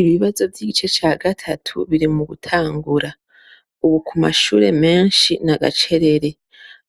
Ibibazo vy’igice ca gatatu biri mugutangura. Ubu kumashure menshi n’agacerere.